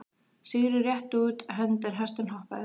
Sigurður rétti út hönd en hesturinn hopaði.